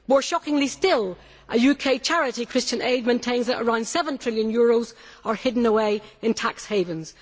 More shockingly still, a UK charity, Christian Aid, maintains that around EUR 7 trillion is hidden away in tax havens.